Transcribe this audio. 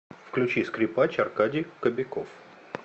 включи скрипач аркадий кобяков